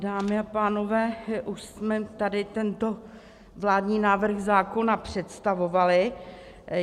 Dámy a pánové, už jsme tady tento vládní návrh zákona představovali.